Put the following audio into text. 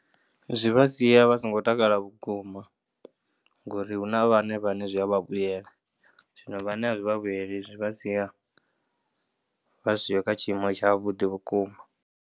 Zwi vha sia vha songo takala vhukuma ngauri hu na vhaṅwe vhane zwi a vha vhuyelwa zwino vhane a zwi vha vhueli zwi vha sia vha siho kha tshiimo tshavhuḓi vhukuma.